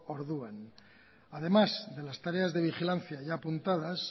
orduan además de las tareas de vigilancia ya apuntadas